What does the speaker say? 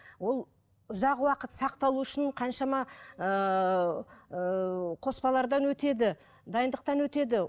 ол ұзақ уақыт сақталу үшін қаншама ыыы қоспалардан өтеді дайындықтан өтеді